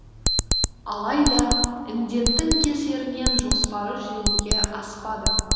алайда індеттің кесірінен жоспары жүзеге аспады